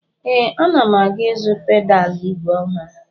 Ee, ana m aga ịzụ pedalụ ígwè ọhụrụ.